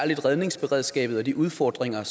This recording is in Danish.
redningsberedskabet og de udfordringer